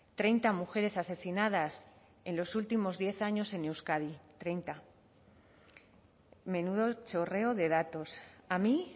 treinta mujeres asesinadas en los últimos diez años en euskadi treinta menudo chorreo de datos a mí